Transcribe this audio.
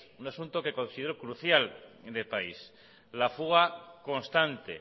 un asunto que considero crucial en el país la fuga constante